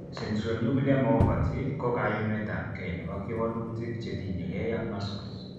Centronuclear myopathy ko kayumetabge nebo kewelutik chetinyegei ak muscles